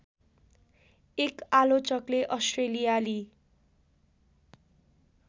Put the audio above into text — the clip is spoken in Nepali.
एक आलोचकले अस्ट्रेलियाली